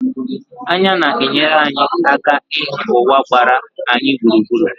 Anya na-enyere anyị aka ịhụ ụwa gbara anyị gburugburu.